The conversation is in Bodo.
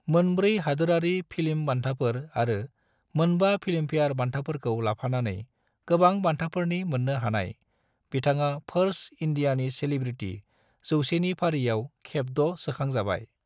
मोनब्रै हादोरारि फिल्म बान्थाफोर आरो मोनबा फिल्मफेयार बान्थाफोरखौ लाफानानै गोबां बान्थाफोरनि मोन्नो हानाय, बिथाङा फर्ब्स इंडियानि सेलिब्रिटी 100 नि फारिआव खेब द' सोखांजाबाय।